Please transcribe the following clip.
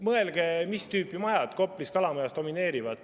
Mõelge, mis tüüpi majad Koplis ja Kalamajas domineerivad.